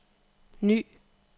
ny